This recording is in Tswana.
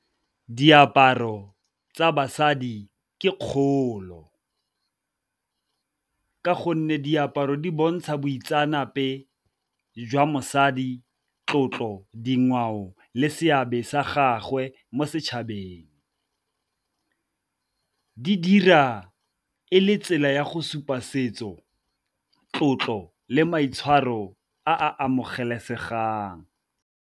Diaparo tsa basadi ke kgolo, ka gonne diaparo di bontsha boitseanape jwa mosadi, tlotlo, dingwao le se a be sa gagwe mo setšhabeng. Di dira e le tsela ya go supa setso, tlotlo le maitshwaro a amogelesegang.